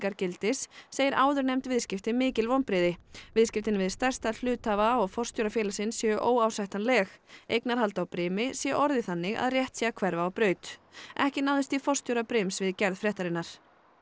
gildis segir áðurnefnd viðskipti mikil vonbrigði viðskiptin við stærsta hluthafa og forstjóra félagsins séu óásættanleg eignarhald á brimi sé orðið þannig að rétt sé að hverfa á braut ekki náðist í forstjóra brims við gerð fréttarinnar